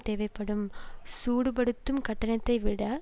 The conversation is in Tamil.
தேவைப்படும் சூடுபடுத்தும் கட்டணத்தைவிட